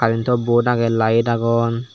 karento bod agey laed agon.